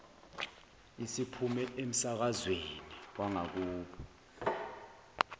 isiphume emsakazweni wangakubo